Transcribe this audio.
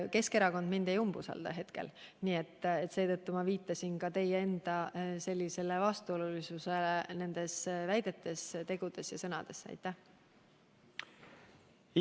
Keskerakond mind hetkel ei umbusalda, nii et seetõttu ma viitasingi just teie väidetes, tegudes ja sõnades esinevale vastuolule.